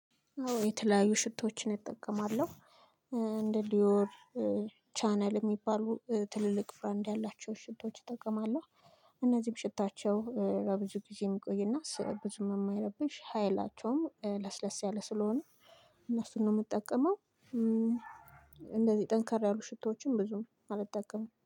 የተለያዩ ሽቶዎችን እጠቀማለሁ። እንደ ዲዮር ቻናል የሚባሉ ትልልቅ ብራንድ ያላቸው ሽቶዎች እጠቀማለሁ። እነዚህም ሽታቸው ለብዙ ጊዜ የሚቆይና ስር ብዙም የማይረብሽ ሀይላቸውም ለስለስ ያለ ስለሆነ እነሱን ነው የምጠቀመው። እንደዚህ ጠንካር ያሉ ሽቶዎችን ብዙም አልጠቀምም